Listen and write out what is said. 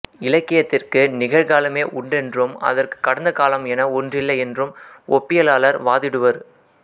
இலக்கியத்திற்கு நிகழ்காலமே உண்டென்றும் அதற்கு கடந்த காலம் என ஒன்றில்லை என்றும் ஒப்பியலாலர் வாதிடுவர்